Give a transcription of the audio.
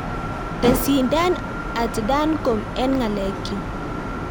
Tesyin Dan at dancom en ngalekyuk